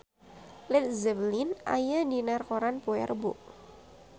Led Zeppelin aya dina koran poe Rebo